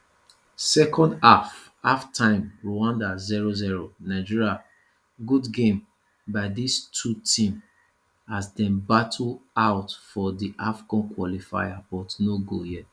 second half halftime rwanda 00 nigeria good game by dis two team as dem battle out for di afcon qualifier but no goal yet